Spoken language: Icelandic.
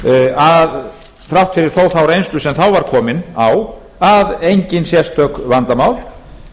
að þrátt fyrir þó þá reynslu sem þá var komin á að engin sérstök vandamál